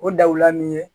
O dawula ni ye